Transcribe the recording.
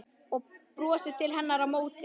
Og brosir til hennar á móti.